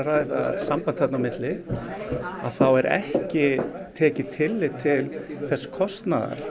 ræða samband þarna á milli að þá er ekki tekið tillit til þess kostnaðar